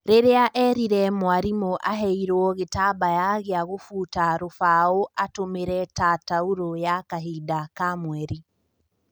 Rĩrĩa erire mwarimũaheirwo gĩtambaya gĩa gũfuta rũbao atũmĩrĩ ta tauro ya kahinda ka mweri